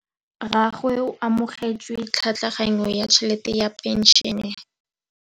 Rragwe o amogetse tlhatlhaganyô ya tšhelête ya phenšene.